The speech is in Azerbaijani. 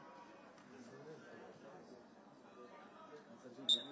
Əsas odur ki, sənin birincin Azərbaycanda olmaqla, Azərbaycanda olmaqla.